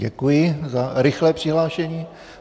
Děkuji za rychlé přihlášení.